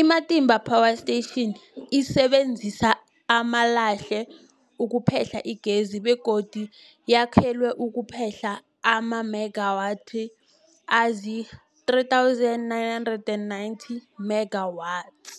I-Matimba Power Station isebenzisa amalahle ukuphehla igezi begodu yakhelwe ukuphehla amamegawathi azii-3990 megawatts.